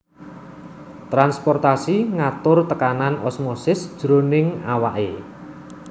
Transportasi ngatur tekanan osmosis jroning awake